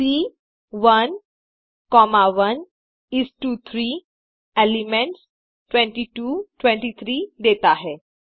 सी 1 1 इस टो 3 एलिमेंट्स 22 23 देता है